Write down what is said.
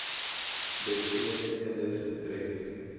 besmette kinders betref